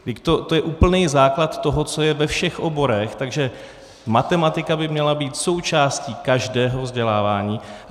To je úplný základ toho, co je ve všech oborech, takže matematika by měla být součástí každého vzdělávání.